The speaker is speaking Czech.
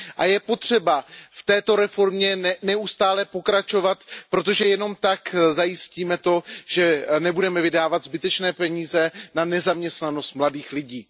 Je potřeba v této reformě neustále pokračovat, protože jen tak zajistíme to, že nebudeme vydávat zbytečné peníze na nezaměstnanost mladých lidí.